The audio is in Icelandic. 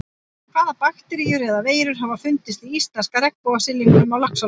Hvaða bakteríur eða veirur hafa fundist í íslenska regnbogasilungnum á Laxalóni?